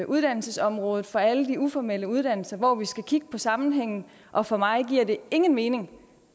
uddannelsesområdet for alle de uformelle uddannelser hvor vi skal kigge på sammenhængen og for mig giver det ingen mening